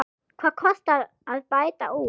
Hvað kostar að bæta úr?